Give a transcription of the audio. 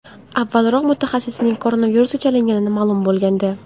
Avvalroq mutaxassisning koronavirusga chalingani ma’lum bo‘lgandi.